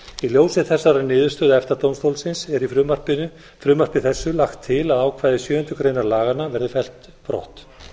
í ljósi þessarar niðurstöðu efta dómstólsins er í frumvarpi þessu lagt til að ákvæði sjöundu grein laganna verði fellt brott